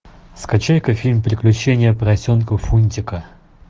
скачай ка фильм приключения поросенка фунтика